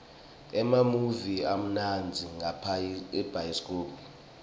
emamuvi amnandza ngabhayisikobho